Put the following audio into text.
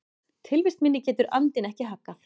Tilvist minni getur andinn ekki haggað.